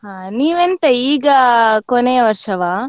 ಹಾ ನೀವು ಎಂಥ ಈಗ ಕೊನೆಯ ವರ್ಷವಾ?